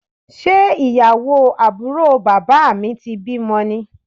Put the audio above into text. Ṣé ìyàwó àbúrò bàbá mi ti bímọ ni?